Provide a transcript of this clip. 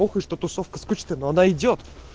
похуй что тусовка скучная но она идёт